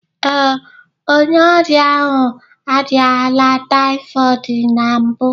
Ee, onye ọrịa ahụ arịala typhoid na mbụ